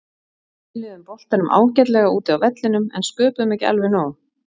Spiluðum boltanum ágætlega úti á vellinum en sköpuðum ekki alveg nóg.